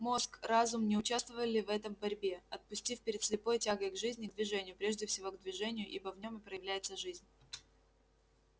мозг разум не участвовали в этой борьбе отпустив перед слепой тягой к жизни к движению прежде всего к движению ибо в нём и проявляется жизнь